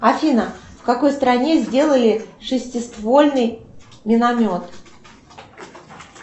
афина в какой стране сделали шестиствольный миномет